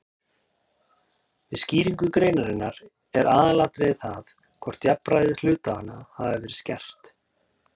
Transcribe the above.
Við skýringu greinarinnar er aðalatriðið það hvort jafnræði hluthafanna hafi verið skert.